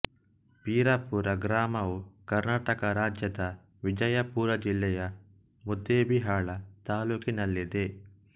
ಪೀರಾಪುರ ಗ್ರಾಮವು ಕರ್ನಾಟಕ ರಾಜ್ಯದ ವಿಜಯಪುರ ಜಿಲ್ಲೆಯ ಮುದ್ದೇಬಿಹಾಳ ತಾಲ್ಲೂಕಿನಲ್ಲಿದೆ